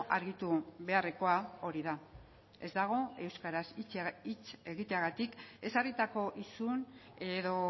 argitu beharrekoa hori da ez dago euskaraz hitz egiteagatik ezarritako isun edo